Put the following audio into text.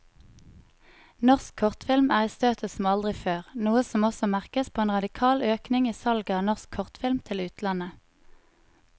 Norsk kortfilm er i støtet som aldri før, noe som også merkes på en radikal økning i salget av norsk kortfilm til utlandet.